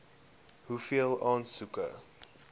hoeveel aansoeke